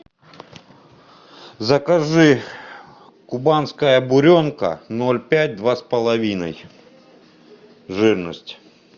закажи кубанская буренка ноль пять два с половиной жирность